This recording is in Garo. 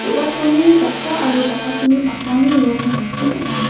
do·gacholni jakra aro jakasini pakmani rong tangsim ong·a.